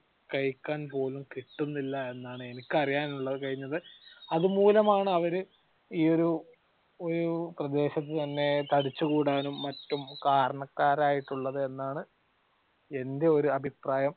കഴിക്കാൻ പോലും കിട്ടുന്നില്ല എന്നാണ് എനിക്ക് അറിയാൻ കഴിഞ്ഞത് അതുമൂലമാണ് അവർ ഈ ഒരു ഒരു പ്രദേശത്തു തന്നെ തടിച്ചു കൂടാനും മറ്റും കാരണക്കാർ ആയിട്ടുള്ളത് എന്നാണ് എന്റെ ഒരു അഭിപ്രായം.